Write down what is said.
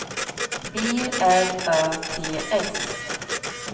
B R Ö T S